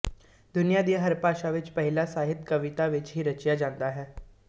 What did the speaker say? ਦੁਨਿਆ ਦੀ ਹਰ ਭਾਸ਼ਾ ਵਿੱਚ ਪਹਿਲਾ ਸਾਹਿਤ ਕਵਿਤਾ ਵਿੱਚ ਹੀ ਰਚਿਆ ਜਾਂਦਾ ਹੈ